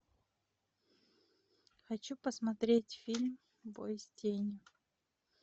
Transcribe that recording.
хочу посмотреть фильм бой с тенью